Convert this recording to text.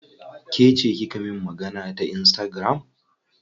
Kece kika min magana ta insitagiram?